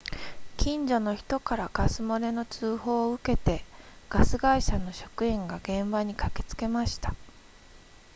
近所の人からガス漏れの通報を受けてガス会社の職員が現場に駆けつけました